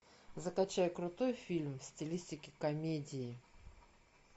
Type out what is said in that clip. закачай крутой фильм в стилистике комедии